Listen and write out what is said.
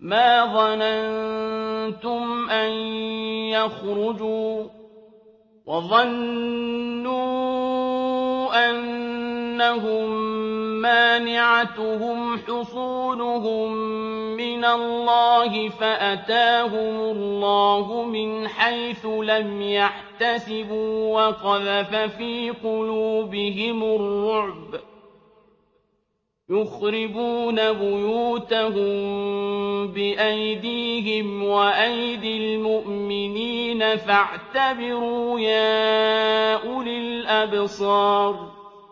مَا ظَنَنتُمْ أَن يَخْرُجُوا ۖ وَظَنُّوا أَنَّهُم مَّانِعَتُهُمْ حُصُونُهُم مِّنَ اللَّهِ فَأَتَاهُمُ اللَّهُ مِنْ حَيْثُ لَمْ يَحْتَسِبُوا ۖ وَقَذَفَ فِي قُلُوبِهِمُ الرُّعْبَ ۚ يُخْرِبُونَ بُيُوتَهُم بِأَيْدِيهِمْ وَأَيْدِي الْمُؤْمِنِينَ فَاعْتَبِرُوا يَا أُولِي الْأَبْصَارِ